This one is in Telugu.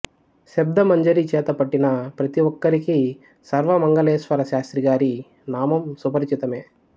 శబ్దమంజరి చేతపట్టిన ప్రతిఒక్కరికీ సర్వమంగళేశ్వర శాస్త్రి గారి నామం సుపరిచితమే